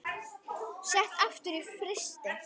Sett aftur í frysti.